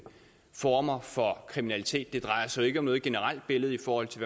former for kriminalitet det drejer sig jo ikke om det generelle billede i forhold til